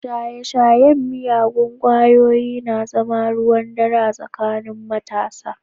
Shaye-shayen miyagun kwayoyi na zama ruwan dare a tsakanin matasa.